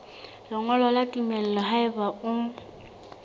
lengolo la tumello haeba o